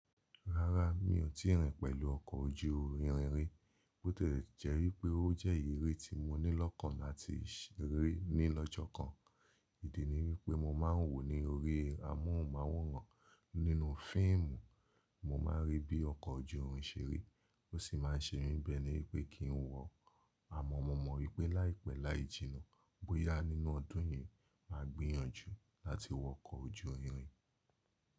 Rárá mi ò tíì rìn pẹ̀lú ọkọ̀ ojú irin rí, bó tẹ́ jẹ́ pé ó jẹ́ iri ri tí mo ní lọ́kàn láti ṣeré ní lọ́jọ́ kan. Ìdí ni wípé mo máa ń wò ó ní orí amóhùnmáwòrán nínú fíìmù, mo máa ń rí bí ọkọ̀ ojú irin ṣe rí, ó sì máa ń ṣe mí bẹ́ẹ̀ ni wípé kí n wọ ọ́. Àmọ́ mo mọ̀ wípé láìpẹ́ láì jìnnà, bóyá nínú ọdún yìí, màá gbìyànjú láti wọ ọkọ̀ ojú irin.